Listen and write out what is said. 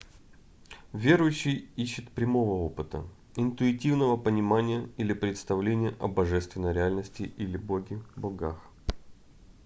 верующий ищет прямого опыта интуитивного понимания или представления о божественной реальности или боге/богах